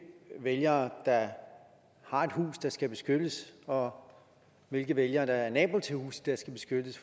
vælgere der har et hus der skal beskyttes og hvilke vælgere der er nabo til et hus der skal beskyttes